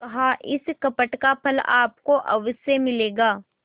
कहाइस कपट का फल आपको अवश्य मिलेगा